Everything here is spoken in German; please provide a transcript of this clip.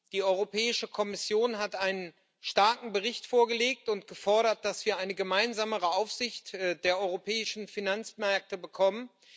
Die Europäische Kommission hat einen starken Bericht vorgelegt und gefordert, dass wir eine gemeinsamere Aufsicht der europäischen Finanzmärkte bekommen.